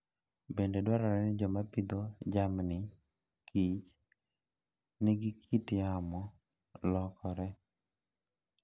Bende dwarore ni joma pidho jamni kich ni kit yamo lokore.